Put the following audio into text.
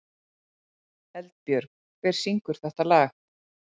Eldbjörg, hver syngur þetta lag?